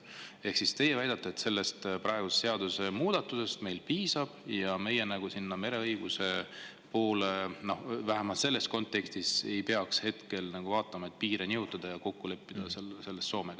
Ehk siis teie väidate, et praegu meile sellest seadusemuudatusest piisab ja me ei peaks hetkel mereõiguse poole vaatama, vähemalt mitte selles kontekstis, et piire nihutada ja Soomega midagi kokku leppida?